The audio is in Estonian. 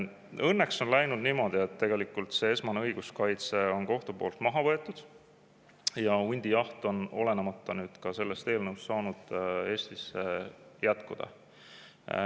Õnneks on läinud niimoodi, et see esmane õiguskaitse on kohtu poolt maha võetud ja hundijaht on ka ilma selle eelnõuta saanud Eestis jätkuda.